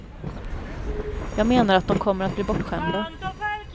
Jag menar att de kommer att bli bortskämda.